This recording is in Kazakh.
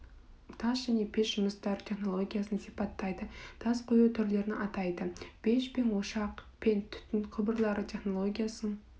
тас және пеш жұмыстары технологиясын сипаттайды тас қою түрлерін атайды пеш ошақ пен түтін құбырлары технологиясын